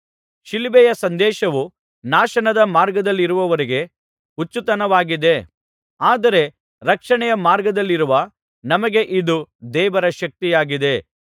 ಶಿಲುಬೆಯ ಸಂದೇಶವು ನಾಶನದ ಮಾರ್ಗದಲ್ಲಿರುವವರಿಗೆ ಹುಚ್ಚುತನವಾಗಿದೆ ಆದರೆ ರಕ್ಷಣೆಯ ಮಾರ್ಗದಲ್ಲಿರುವ ನಮಗೆ ಇದು ದೇವರ ಶಕ್ತಿಯಾಗಿದೆ